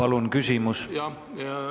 Palun küsimus!